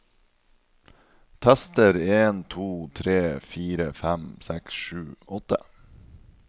Tester en to tre fire fem seks sju åtte